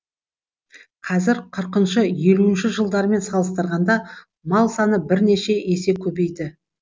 қазір қырқыншы елуінші жылдармен салыстырғанда мал саны бірнеше есе көбейді